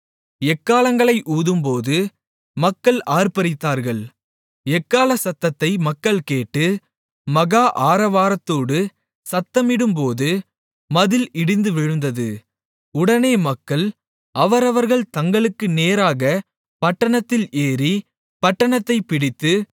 எக்காளங்களை ஊதும்போது மக்கள் ஆர்ப்பரித்தார்கள் எக்காள சத்தத்தை மக்கள் கேட்டு மகா ஆரவாரத்தோடு சத்தமிடும்போது மதில் இடிந்து விழுந்தது உடனே மக்கள் அவரவர்கள் தங்களுக்கு நேராகப் பட்டணத்தில் ஏறி பட்டணத்தைப் பிடித்து